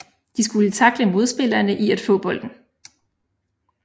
De skulle tackle modspillerne i at få bolden